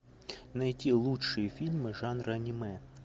найти лучшие фильмы жанра аниме